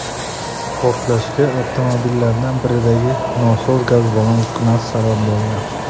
Portlashga avtomobillardan biridagi nosoz gaz ballon uskunasi sabab bo‘lgan.